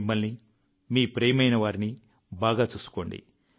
మిమ్మల్ని మీ ప్రియమైన వారిని బాగా చూసుకోండి